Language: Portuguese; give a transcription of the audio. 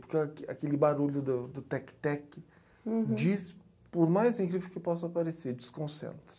Porque aq aquele barulho do do tec-tec diz, por mais incrível que possa parecer, desconcentra.